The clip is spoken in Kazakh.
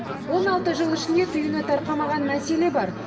он алты жыл ішінде түйіні тарқамаған мәселе бар